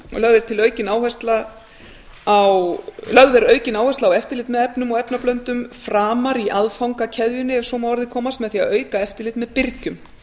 lögð er aukin áhersla á eftirlit með efnum og efnablöndum framar í aðfangakeðjunni ef svo má að orði komast með því að auka eftirlit með birgjum